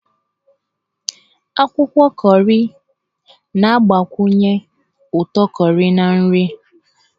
Akwụkwọ kọrị na-agbakwunye ụtọ kọrị na nri.